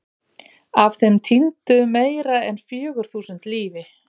Af þeim týndu meira en fjögur þúsund lífi.